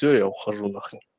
всё я ухожу на хрен